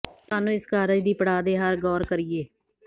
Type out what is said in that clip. ਸਾਨੂੰ ਇਸ ਕਾਰਜ ਦੀ ਪੜਾਅ ਦੇ ਹਰ ਗੌਰ ਕਰੀਏ